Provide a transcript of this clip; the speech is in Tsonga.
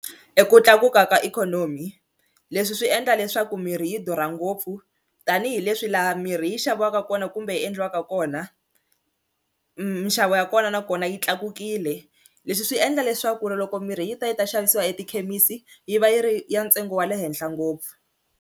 I ku tlakuka ka ikhonomi leswi swi endla leswaku mirhi yi durha ngopfu tanihileswi laha mirhi yi xaviwaka kona kumbe yi endliwaka kona, minxavo ya kona nakona yi tlakukile leswi swi endla leswaku ri loko mirhi yi ta yi ta xavisiwa etikhemisi yi va yi ri ya ntsengo wa le henhla ngopfu.